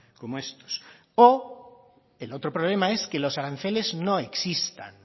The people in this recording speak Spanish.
como estos o el otro problema es que los aranceles no existan